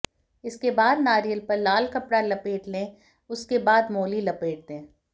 इसके बाद नारियल पर लाल कपडा लपेट ले उसके बाद मोली लपेट दें